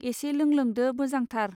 एसे लोंलोंदो मोजांथार।